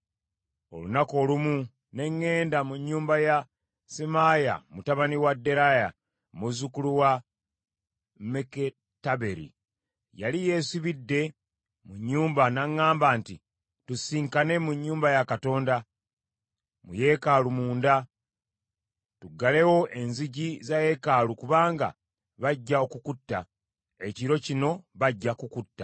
Olunaku olumu ne ŋŋenda mu nnyumba ya Semaaya mutabani wa Deraaya, muzzukulu wa Meketaberi; yali yeesibidde mu nnyumba, n’aŋŋamba nti, “Tusisinkane mu nnyumba ya Katonda, mu yeekaalu munda, tuggalewo enzigi za yeekaalu, kubanga bajja okukutta, ekiro kino bajja kukutta.”